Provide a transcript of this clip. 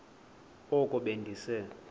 oko be ndise